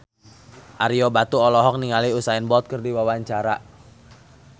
Ario Batu olohok ningali Usain Bolt keur diwawancara